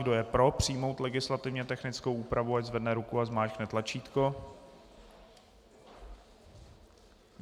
Kdo je pro, přijmout legislativně technickou úpravu, ať zvedne ruku a zmáčkne tlačítko.